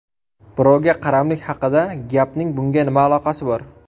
Birovga qaramlik haqida gapning bunga nima aloqasi bor?